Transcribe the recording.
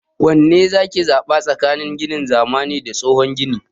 Wanne zaki zaɓa tsakanin ginin zamani da tsohon gini?